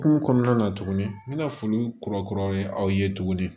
Kungo kɔnɔna na tuguni n bɛna foli kura kura ye aw ye tuguni